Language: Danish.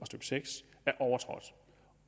seks er overtrådt